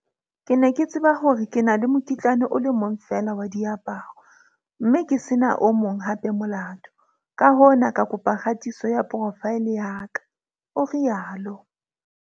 Ke ne ke tseba hore ke na le mokitlane o le mong feela wa diaparo, mme ke se na o mong hape molato, ka hona ka kopa kgatiso ya profaele ya ka, o rialo.